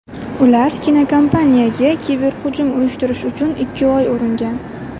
Ular kinokompaniyaga kiberhujum uyushtirish uchun ikki oy uringan.